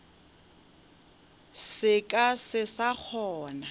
se ka se sa kgona